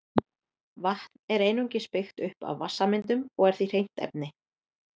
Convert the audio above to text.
Vatn er einungis byggt upp af vatnssameindum og er því hreint efni.